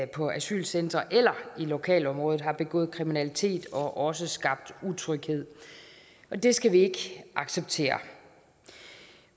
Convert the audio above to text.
på asylcentre eller i lokalområdet har begået kriminalitet og også skabt utryghed og det skal vi ikke acceptere